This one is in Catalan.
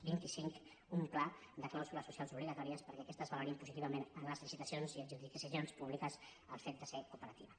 vint i cinc un pla de clàusules socials obligatòries perquè aquestes valorin positivament en les licitacions i adjudicacions públiques el fet de ser cooperativa